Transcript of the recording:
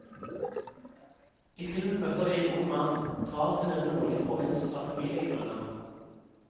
I filmen møter vi en ung mann drar til en nordlig provins av familiegrunner.